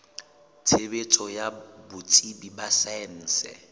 tshebetso ya botsebi ba saense